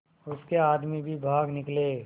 उसके आदमी भी भाग निकले